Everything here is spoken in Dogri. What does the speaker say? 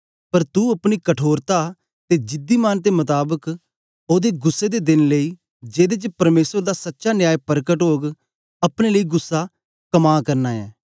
पर तू अपनी कठोरता ते जिद्दी मन दे मताबक ओदे गुस्सै दे देन लेई जेदे च परमेसर दा सच्चा न्याय परकट ओग अपने लेई गुस्सा कमा करना ऐं